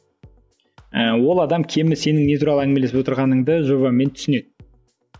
ы ол адам кемінде сенің не туралы әңгімелесіп отырғаныңды жобамен түсінеді